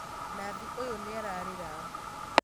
Nathi ũyũ nĩararĩra